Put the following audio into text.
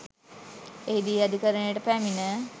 එහිදී අධිකරණයට පැමිණ